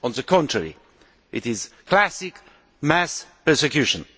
On the contrary, it is classic mass persecution.